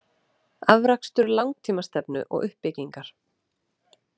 Afrakstur langtíma stefnu og uppbyggingar.